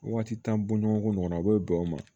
Waati t'an bɔɲɔgɔnko ɲɔgɔn na a b'o bɛn o ma